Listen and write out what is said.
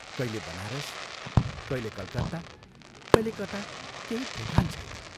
कहिले बनारस, कहिले कलकत्ता, कहिले कता केही ठेकान छैन।